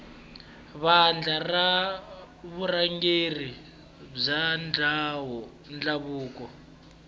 vandla ra vurhangeri bya ndhavuko